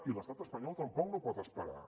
i l’estat espanyol tampoc no pot esperar